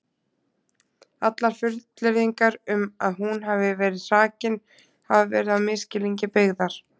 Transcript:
Allar fullyrðingar um að hún hafi verið hrakin hafa verið á misskilningi byggðar.